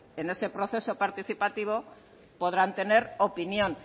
en ese proceso participativo podrán tener opinión